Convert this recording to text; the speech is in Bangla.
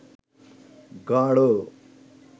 গাঁড়